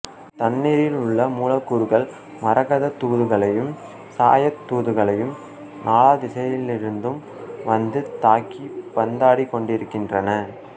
தண்ணீரிலுள்ள மூலக்கூறுகள் மகரந்த்த் தூள்களையும் சாயத் தூகள்களையும் நாலா திசைகளிலிருந்தும் வந்து தாக்கிப் பந்தாடி கொண்டிருக்கின்றன